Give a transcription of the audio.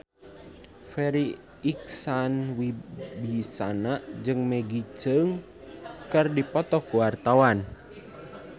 Farri Icksan Wibisana jeung Maggie Cheung keur dipoto ku wartawan